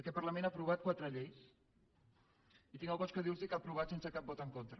aquest parlament ha aprovat quatre lleis i tinc el goig de dir los que les ha aprovat sense cap vot en contra